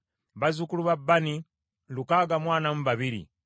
bazzukulu ba Bani lukaaga mu ana mu babiri (642),